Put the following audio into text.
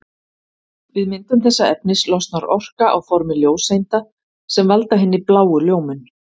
Við myndun þessa efnis losnar orka á formi ljóseinda sem valda hinni bláu ljómun.